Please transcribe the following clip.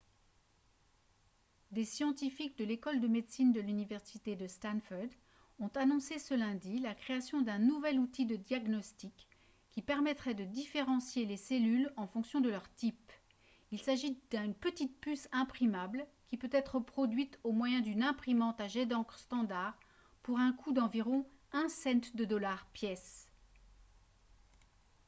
des scientifiques de l'école de médecine de l'université de stanford ont annoncé ce lundi la création d'un nouvel outil de diagnostic qui permettrait de différencier les cellules en fonction de leur type il s'agit d'une petit puce imprimable qui peut être produite au moyen d'une imprimante à jet d'encre standard pour un coût d'environ un cent de dollar pièce